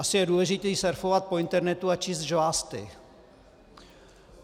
Asi je důležité surfovat po internetu a číst žvásty.